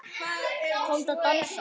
Komdu að dansa